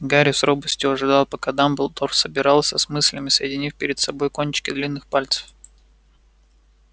гарри с робостью ожидал пока дамблдор собирался с мыслями соединив перед собой кончики длинных пальцев